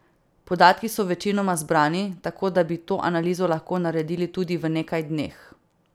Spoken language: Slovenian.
Podatki so večinoma zbrani, tako da bi to analizo lahko naredili tudi v nekaj dneh.